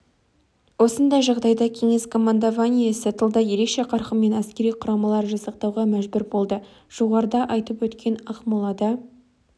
осындай жағдайда кеңес командованиесі тылда ерекше қарқынмен әскери құрамалар жасақтауға мәжбүр болды жоғарыда айтып өткен ақмолада